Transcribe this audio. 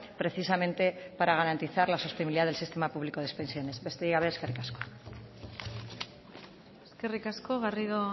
precisamente para garantizar la sostenibilidad del sistema público de pensiones besterik gabe eskerrik asko eskerrik asko garrido